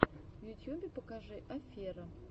в ютьюбе покажи оффера